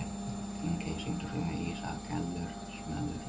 Þingey, syngdu fyrir mig „Ísaðar Gellur“.